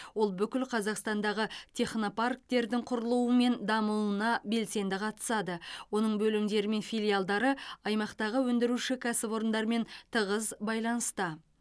ол бүкіл қазақстандағы технопарктердің құрылуы мен дамуына белсенді қатысады оның бөлімдері мен филиалдары аймақтағы өндіруші кәсіпорындармен тығыз байланыста